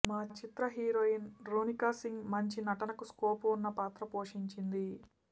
మా చిత్ర హీరోయిన్ రోనికాసింగ్ మంచి నటనకు స్కోప్ వున్న పాత్ర పోషించింది